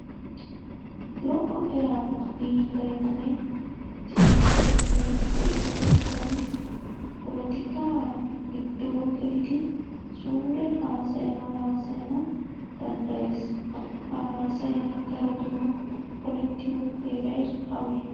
Lo'o eraa biillayinne cinccatettay de'iyo asay politikaa giddo gelidi sure haasayaa haasayaa danddayees. Ha haasayay darotoo polettiyo Heeray awee?